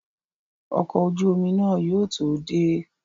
Ọkọ̀ ojú omi náà yóò tó dé